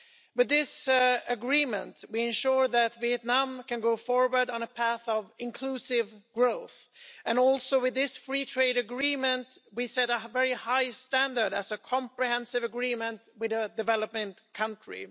With this agreement, we ensure that Vietnam can go forward on a path of inclusive growth, and also with this Free Trade Agreement we set a very high standard as a comprehensive agreement with a developing country.